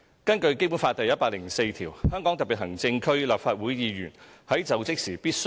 根據《基本法》第一百零四條，"香港特別行政區......立法會議員......在就職時必須......